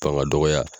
Fanga dɔgɔya